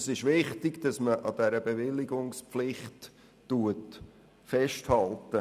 Es ist wichtig, dass man an dieser Bewilligungspflicht festhält.